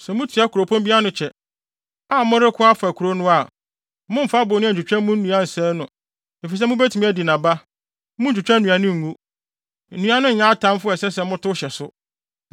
Sɛ motua kuropɔn bi ano kyɛ, a moreko afa kurow no a, mommfa abonnua ntwitwa mu nnua nsɛe no. Efisɛ mubetumi adi nʼaba. Munntwitwa nnua no ngu. Nnua no nyɛ atamfo a ɛsɛ sɛ motow hyɛ so!